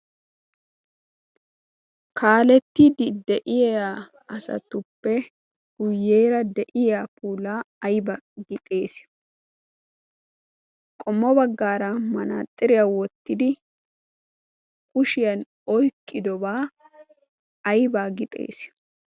kaalettidi de'iya asatuppe guyyeera de'iya pulaa aybbaa gixees qommo baggaara manaaxxiriyaa wottidi kushiyan oyqqidobaa aybaa gi xeesiyo